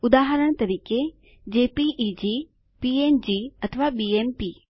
ઉદાહરણ તરીકે JPEG PNG અથવા બીએમપી